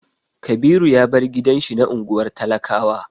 Kabiru ya bar gidan shi na unguwar talakawa.